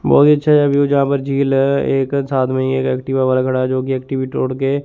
बहोत ही अच्छा सा व्यू है जहां पर झील है एक साथ में एक एक्टिवा वाला खड़ा है जो कि तोड़ के--